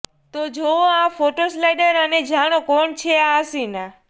તો જુઓ આ ફોટોસ્લાઇડર અને જાણો કોણ છે આ હસીના